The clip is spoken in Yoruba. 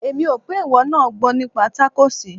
Èmi ò pé ìwọ náà gbọ́ nípa tákóòsì.